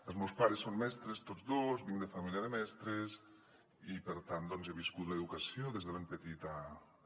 els meus pares són mestres tots dos vinc de família de mestres i per tant doncs he viscut l’educació des de ben petit a casa